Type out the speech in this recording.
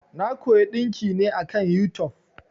Na koyi ɗinki ne akan yutub.